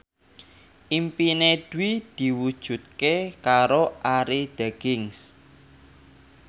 impine Dwi diwujudke karo Arie Daginks